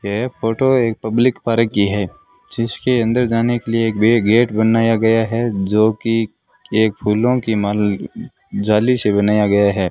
यह फोटो एक public park की है जिसके अंदर जाने के लिए एक भी गेट बनाया गया है जो कि एक फूलों की माल जाली से बनाया गया है।